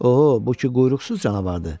O, bu ki quyruqsuz canavardır.